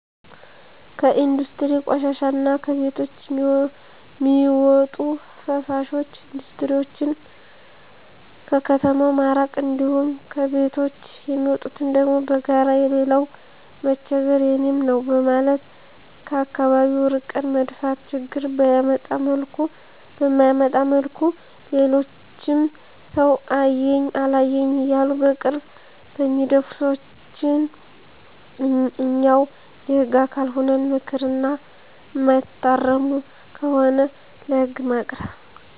ከኢንዱስትሪ ቆሻሻ እና ከቤቶች ሚዎጡ ፍሳሾች ኢንዱስትሪዎችን ከከተማው ማራቅ እንዲሁም ከቤቶች የሚወጡትን ደግሞ በጋራ የሌላው መቸገር የኔም ነው በማለት ከአከባቢው አርቀን መድፋት ችግር በማያመጣ መልኩ ሌሎችም ሰው አየኝ አላየኝ እያሉ በቅርብ በሚደፉ ሰዎችን እኛው የህግ አካል ሁነን ምከር እና እማይታረሙ ከሆነ ለህግ ማቅረብ።